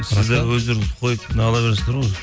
сіздер өздеріңіз қойып неағыла бересіздер ғой